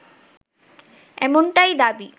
এমনটাই দাবি